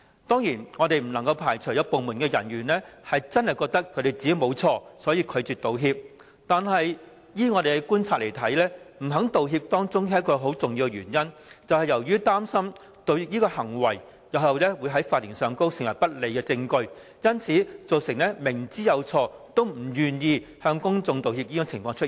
當然，我們不能排除有部門人員真的認為自己沒有犯錯，所以拒絕道歉，但依我們觀察，不願意道歉有一個重要原因，就是擔心道歉行為日後會在法庭上成為不利證據，因而造成明知有錯也不願意向公眾道歉的情況。